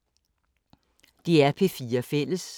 DR P4 Fælles